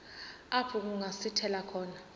apho kungasithela khona